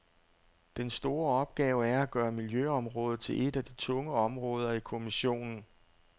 Den store opgave er at gøre miljøområdet til et af de tunge områder i kommissionen.